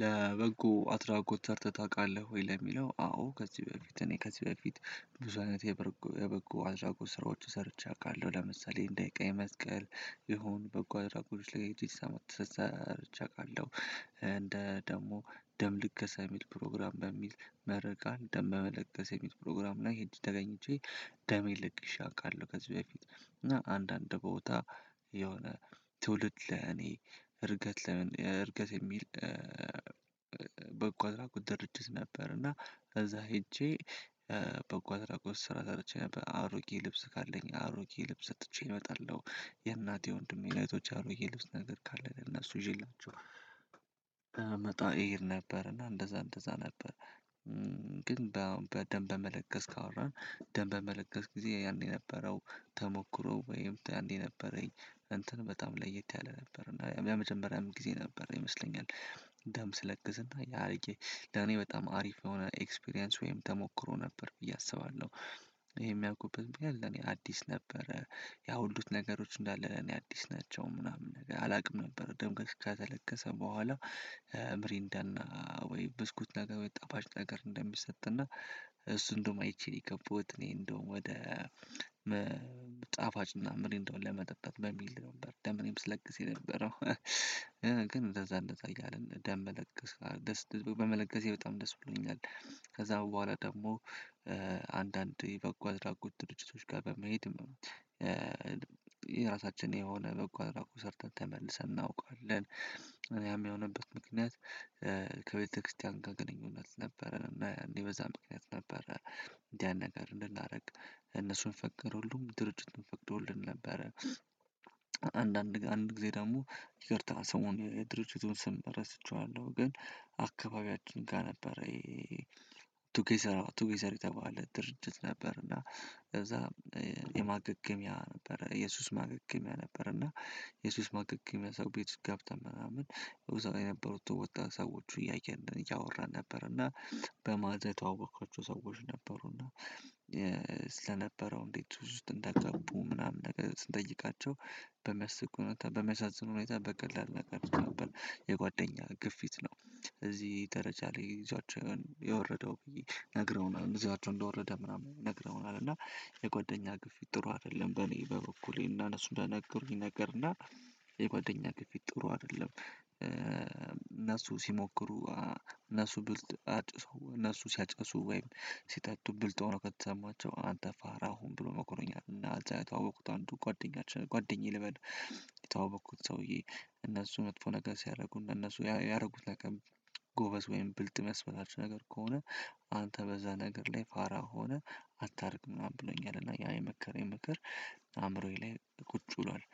ለበጎ አድራጎት ሰርትህ ታውቃለህ ወይ? ለሚለው አዎ! ከዚህ በፊት እኔ ከዚህ በፊት ብዙ አይነት የበጎ አድራጎት ስራዎች ሰርቼ አውቃለሁ። ለምሳሌ የኔ እንደ ቀይ መስቀል ይሆኑ በጎ አድራጎት ላይ ሰ ሰርቼ አውቃለሁ። እንደ ደግሞ ደም ልገሳ የሚል ፕሮግራም በሚል መርቃን። ደም በመለከስ የሚል ፕሮግራም ላይ ሄጄ ተገኝቼ። ደሜን ለግሼ እቃለሁ። ከዚህ በፊት እና አንዳንድ ቦታ የሆነ ትውልድ ለኔ እርገት ለምን እርገት የሚል በበጎ አድራጎት ድርጅት ነበር እና ከዛ ሄጄ በበጎ አድራጎት ስራ ሰርቼ ነበር። አሮጌ ልብስ ካለኝ አሮጌ ልብስ ሰጥቼ እወጣለሁ። የእናቴ ወንድሜ ነው እህቶች አሮጌ ልብስ ነገር ካለ እነሱ ይዤላችሁ እመጣ እሄድ ነበር። እና እንደዛ እንደዛ ነበር በደንብ መለገስ ካወራን ደንብ በመለገስ ጊዜ ያን የነበረው ተሞክሮ ወይም ያንዴ ነበረኝ እንትን በጣም ለየት ያለ ነበር። እና የመጀመሪያም ጊዜ ነበር ይመስለኛል ደም ስለግዝ እና ያልቄ ደህኔ በጣም አሪፍ የሆነ ኤክስፒሪያንስ ወይም ተሞክሮ ነበር ብዬ አስባለሁ። ይሄ የሚያውቁበት ለኔ አዲስ ነበረ። ያው ሁሉን ነገሮች እንዳለ ለኔ አዲስ ናቸው። ምናምን ነገር አላውቅም ነበር። ደም ከተ ከተለገሰ በኋላ ምሪንዳና ወይ ብስኩት ነገር ወይ ጠፋጭ ነገር እንደሚሰጥና እሱ እንደውም አይቼ የገባሁት እኔ እንደውም ወደ ጣፋጭና ምሪንዳ ለመጠጣት በሚል ነበር ደሜን ስለግስ የነበረው። ግን እንደዛ እንደዛ እያልን ደም መለገስ ደስ ብሎኝ በመለገሴ በጣም ደስ ብሎኛል። ከዛ በኋላ ደግሞ አንዳንዴ በጎ አድራጎት ድርጅቶች ጋር በመሄድም ነው። የራሳችን የሆነ በጎ አድራጎት ሰርተን ተመልሰን እናውቃለን። እኔ ያም የሆነበት ምክንያት ከቤተክርስቲያን ጋር ግንኙነት ነበረን። እና እንዲህ በዛ ምክንያት ነበረ እንዲህ ያን ነገር እንድናደርግ እነሱን ፈቀድ ሁሉም ድርጅት ፈቅዶልን ነበረ። አንዳንድ አንድ ጊዜ ደግሞ ይቅርታ ስሙን የድርጅቱን ስም ረስቼዋለሁ። ግን አካባቢያችን ጋር ነበረ። ቱጌዘር ቱጌዘር የተባለ ድርጅት ነበር እና ከዛ የማገገሚያ ነበረ የሱስ ማገገሚያ ነበረ። እና የሱስ ማገገሚያ ሰው ቤት ገብተን ምናምን እዛ የነበሩት ወጣት ሰዎች እያየን ነው እያወራን ነበር እና በማታ የተዋወቅኳቸው ሰዎች ነበሩና። ስለነበረው እንዴት ሱስ ውስጥ እንደገቡ? ምናምን ነገር ስንጠይቃቸው በሚያስቅ ሁኔታ በሚያሳዝን ሁኔታ በቀላል ነገር ነበር የጓደኛ ግፊት ነው። እዚህ ደረጃ ላይ ይዟቸው የወረደው ብዬ ነግረውናል። ይዟቸው እንደወረደ ምናምን ነግረውናል እና የጓደኛ ግፊት ጥሩ አይደለም። በኔ በበኩሌ እና እነሱ እንደነገሩኝ ነገር እና የጓደኛ ግፊት ጥሩ አይደለም። እነሱ ሲሞክሩ እነሱ ብልጥ እነሱ ሲያጨሱ ወይም ሲጠጡ ብልጥ ሆነው ከተሰማቸው አንተ ፋራ ሁን ብሎ መክሮኛል እና እዛ የተዋውኩት አንዱ ጓደኛችን ጓደኛዬ ልበል የተዋወቅኩት ሰውዬ እነሱ መጥፎ ነገር ሲያደርጉን እነሱ ያደረጉት ለቀን ጎበዝ ወይም ብልጥ የሚያስበላችሁ ነገር ከሆነ አንተ በዛ ነገር ላይ ፋራ ሆነህ አታርግ ምናምን ብሎኛል። እና ያ የመከረኝ ምክር አእምሮዬ ላይ ቁጭ ብሏል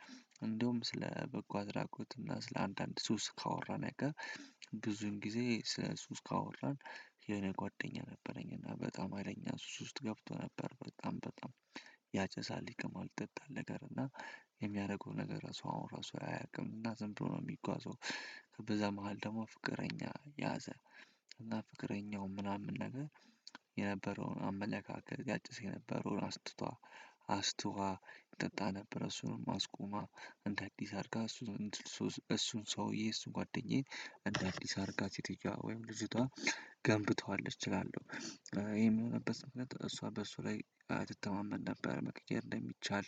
እንደውም ስለ በጎ አድራጎት ስለአንዳንድ ሱስ ካወራን አያቀርም ብዙን ጊዜ ስለ ሱስ ካወራን የሆነ ጓደኛ ነበረኝ እና በጣም ሀይለኛ ሱስ ውስጥ ገብቶ ነበር። በጣም በጣም ያጨሳል፣ ይቅማል፣ ይጠጣል ነገር እና የሚያደርገው ነገር ራሱ አሁን ራሱ አያውቅም እና ዝም ብሎ ነው የሚጓዘው በዛ መሃል ደግሞ ፍቅረኛ ያዘ እና ፍቅረኛው ምናምን ነገር የነበረውን አመለካከት ያጨስ የነበረውን አስትቷ አስቷ ይጠጣ ነበር፣ እሱንም አስቁማ፣ እንደ አዲስ አርጋ እሱን እሱን ሰውዬ እሱን ጓደኛዬ እንደ አዲስ አርጋ ሴትየዋ ወይም ልጅቷ ገንብተዋለች እላለሁ። ይሄም የሆነበት ምክንያት እሷ በሱ ላይ ትተማመን ነበር። መቅየር እንደሚቻል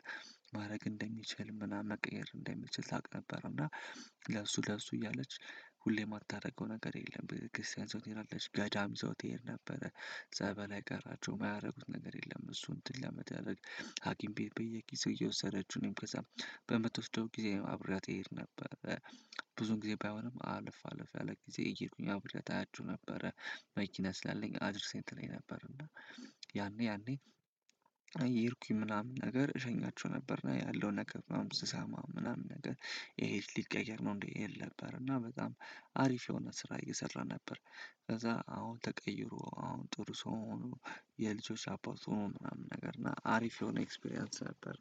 ማድረግ እንደሚችል ምናምን መቀየር እንደሚችል ታውቅ ነበር። እና ለሱ ለሱ እያለች ሁሌም ማታደርገው ነገር የለም። ቤተክርስቲያን ይዛው ትሄዳለች፣ ገዳም ይዘው ትሄድ ነበረ፣ ጸበል አይቀራቸው። የማያደርጉት ነገር የለም። እሱን እንትን ለመታደረግ ሀኪም ቤት በየጊዜው እየወሰደችው እኔም ከዛ በምትወስደው ጊዜ አብሬያት እሄድ ነበር። ብዙ ጊዜ ባይሆንም አለፋ አለፋ ያለ ጊዜ እየሄዱኝ አብሬያት አያቸው ነበረ። መኪና ስላለኝ አድርሰኝ ትለኝ ነበር። እና ያኔ ያኔ አይ እየሄድኩኝ ምናምን ነገር እሸኛቸው ነበር። እና ያለው ነገር ምናምን ስሰማ ምናምን ነገር ይሄ ሊቀየር ነው እንዴ? እል ነበር እና በጣም አሪፍ የሆነ ስራ እየሰራ ነበር ከዛ አሁን ተቀይሮ፣ አሁን ጥሩ ሰው ሆኖ የልጆች አባት ሆኖ ምናምን ነገር እና አሪፍ የሆነ ኤክስፒሪያንስ ነበር።